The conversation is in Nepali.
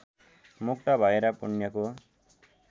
मुक्त भएर पुण्यको